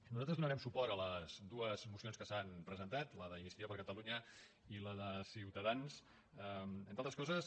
nosaltres donarem suport a les dues mocions que s’han presentat la d’iniciativa per catalunya i la de ciutadans entre altres coses